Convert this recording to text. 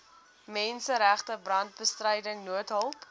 menseregte brandbestryding noodhulp